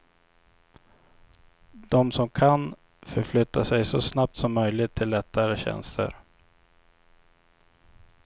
De som kan, förflyttar sig så snabbt som möjligt till lättare tjänster.